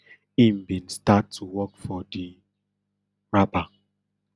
im bin start to work for di rapper